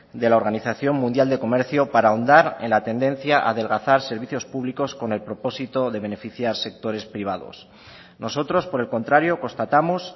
de la organización mundial de comercio para ahondar en la atendencia a adelgazar servicios públicos con el propósito de beneficiar sectores privados nosotros por el contrario constatamos